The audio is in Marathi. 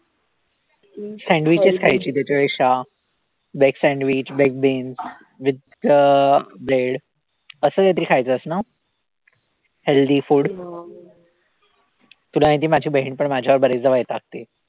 Sandwich चं खायची त्याच्यापेक्षा veg sandwich veg beans with अं bread असं काहीतरी खायचंस ना healthy food तुला माहितीये माझी बहीण पण माझ्यावर बरेचदा वैतागते.